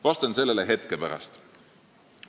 Vastan sellele hetke pärast.